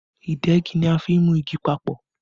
Ìdegi ni a fi n mú igi papọ̀